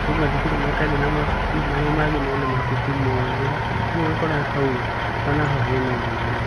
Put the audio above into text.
kwĩ mathukuru matarĩ na mabuku, marĩa mangĩ mena mabuku mothe, ũguo ũgakora hau onaho hena mwanya.